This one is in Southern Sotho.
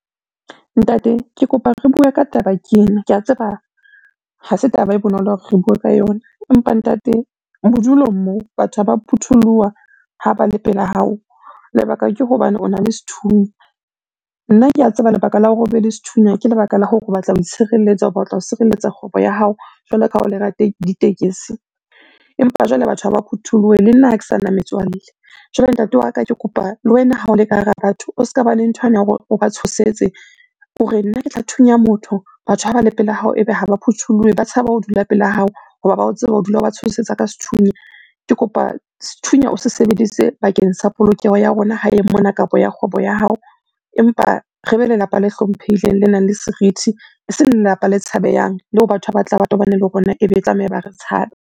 Ntate ke kopa re bue ka taba ke ena, ke a tseba ha se taba e bonolo hore re bue ka yona. Empa ntate, bodulong moo batho ha ba phutholoha ha ba le pela hao. Lebaka ke hobane ona le sethunya. Nna ke a tseba lebaka la hore o be le sethunya ke lebaka la hore o batla ho itshireletsa, o batla ho sireletsa kgwebo ya hao jwalo ka ha o le ditekesi. Empa jwale batho ha ba phuthuloha, le nna ha ke sana metswalle. Jwale ntate wa ka ke kopa le wena ha o le ka hara batho o ska ba le nthwane ya hore o ba tshosetse o re, nna ke tla thunya motho. Batho ha ba le pela hao ebe ha ba phuthulohe, ba tshaba ho dula pela hao hoba ba o tseba o dula o ba tshosetsa ka sethunya. Ke kopa sethunya o se sebedise bakeng sa polokeho ya rona hae mona kapa ya kgwebo ya hao. Empa re be lelapa le hlomphehileng, le nang le serithi. Eseng lelapa le tshabehang, leo batho ha ba tla ba tobane le rona ebe e tlameha ba re tshabe.